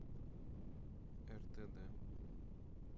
ртд